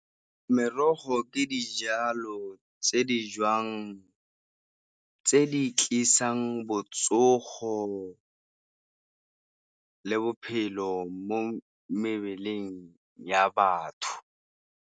Merogo ke dijalo tse di jewang tse di tlisang botsogo le bophelo mo mebeleng ya batho.